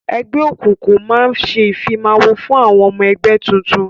Ẹgbẹ́ òkùnkùn máa ń ṣe ìfimawo fún ọmọ ẹgbẹ́ tuntun